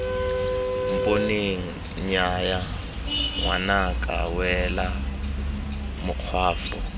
mponeng nnyaya ngwanaka wela makgwafo